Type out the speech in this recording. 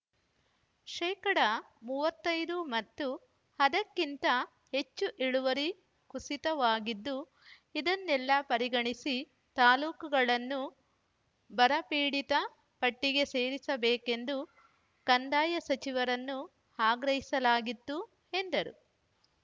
ಶೇಕಡಾ ಮೂವತ್ತೈದು ಮತ್ತು ಅದಕ್ಕಿಂತ ಹೆಚ್ಚು ಇಳುವರಿ ಕುಸಿತವಾಗಿದ್ದು ಇದನ್ನೆಲ್ಲ ಪರಿಗಣಿಸಿ ತಾಲೂಕುಗಳನ್ನು ಬರಪೀಡಿತ ಪಟ್ಟಿಗೆ ಸೇರಿಸ ಬೇಕೆಂದು ಕಂದಾಯ ಸಚಿವರನ್ನು ಆಗ್ರಹಿಸಲಾಗಿತ್ತು ಎಂದರು